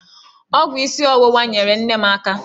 Ọgwụ isi ọwụwa nyeere nne m aka.